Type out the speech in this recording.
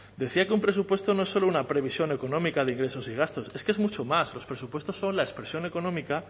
decía que un presupuesto no es solo una previsión económica de ingresos y gastos es que es mucho más los presupuestos son la expresión económica